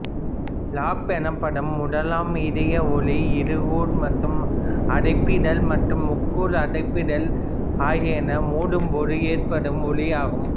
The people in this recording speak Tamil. லப் எனப்படும் முதலாம் இதய ஒலிப்பு இருகூர் அடைப்பிதழ் மற்றும் முக்கூர் அடைப்பிதழ் ஆகியனவை மூடும் போது ஏற்படும் ஒலியாகும்